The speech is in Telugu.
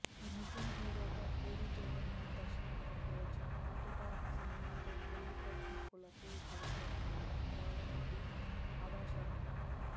నితిన్ హిరోగా పూరి జగన్నాథ్ దర్శకత్వంలో వచ్చిన హార్ట్ ఎటాట్ సిమాతో తెలుగు ప్రేక్షకులకు పరిచయమైంది అందాల నటి అదాశర్మ